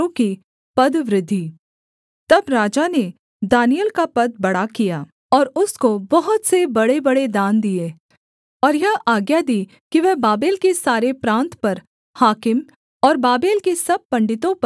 तब राजा ने दानिय्येल का पद बड़ा किया और उसको बहुत से बड़ेबड़े दान दिए और यह आज्ञा दी कि वह बाबेल के सारे प्रान्त पर हाकिम और बाबेल के सब पंडितों पर मुख्य प्रधान बने